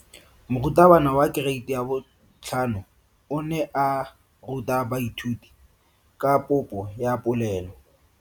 Moratabana wa kereiti ya 5 o ne a ruta baithuti ka popo ya polelo.